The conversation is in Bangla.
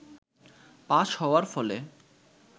পাস হওয়ার ফলে